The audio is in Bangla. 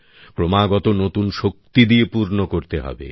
ক্রমাগত নতুন শক্তি দিয়ে পূর্ণ করতে হবে